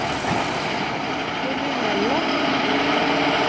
nominelle